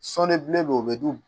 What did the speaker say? Sɔɔnibilen be yen o be d'u ma